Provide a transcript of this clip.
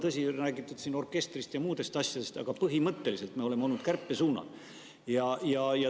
Tõsi, siin on räägitud orkestrist ja muudest asjadest, aga põhimõtteliselt me oleme olnud kärpesuunal.